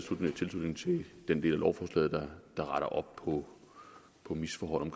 tilslutning til den del af lovforslaget der retter op på på misforhold i